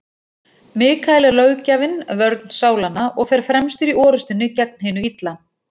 Mikael er löggjafinn, vörn sálanna, og fer fremstur í orrustunni gegn hinu illa.